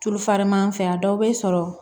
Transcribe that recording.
Tulufaman an fɛ yan a dɔw bɛ sɔrɔ